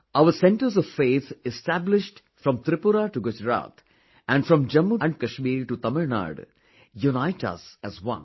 Our centres of faith established from Tripura to Gujarat and from Jammu and Kashmir to Tamil Nadu, unite us as one